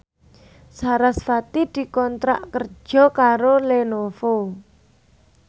sarasvati dikontrak kerja karo Lenovo